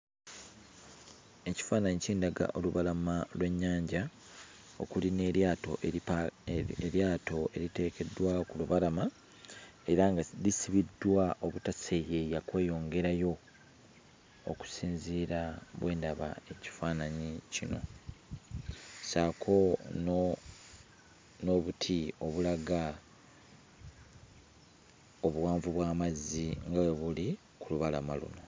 Ekifaananyi kindaga olubalama lw'ennyanja okuli n'eryato eripa eryato eriteekeddwa ku lubalama era nga lisibiddwa obutaseeyeeya kweyongerayo okusinziira bwe ndaba ekifaananyi kino. Ssaako no n'obuti obulaga obuwanvu bw'amazzi nga bwe buli ku lubalama luno.